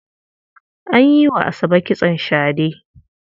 An yi wa Asabe kitson shade.